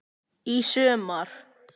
Í sumar.